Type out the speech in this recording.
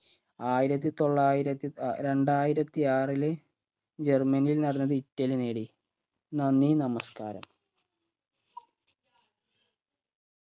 ആയിരത്തി തൊള്ളായിരത്തി ഏർ രണ്ടായിരത്തി ആറില് ജർമനിയിൽ നടന്നത് ഇറ്റലി നേടി നന്ദി നമസ്കാരം